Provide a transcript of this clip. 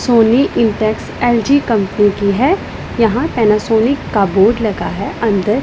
Soni Intex LG company की है यहां पैनासोनिक का बोर्ड लगा है अंदर--